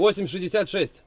866.